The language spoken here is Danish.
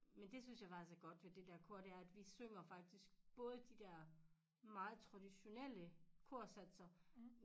Men det synes jeg faktisk er godt ved det der kor det er at vi synger faktisk både de der meget traditionelle korsatser